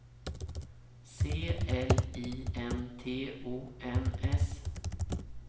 C L I N T O N S